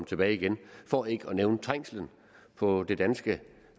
tilbage igen for ikke at nævne trængslen på det danske